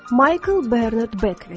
Maykl Bernard Bekvit.